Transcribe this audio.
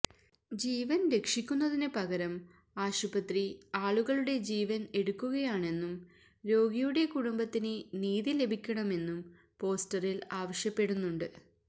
ജീവന് രക്ഷിക്കുന്നതിന് പകരം ആശുപത്രി ആളുകളുടെ ജീവന് എടുക്കുകയാണെന്നും രോഗിയുടെ കുടുംബത്തിന് നീതി ലഭിക്കണമെന്നും പോസ്റ്ററില് ആവശ്യപ്പെടുന്നുണ്ട്